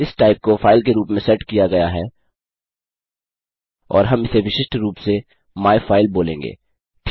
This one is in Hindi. इस टाइप को फाइल के रूप में सेट किया गया है और हम इसे विशिष्ट रूप से माइफाइल बोलेंगे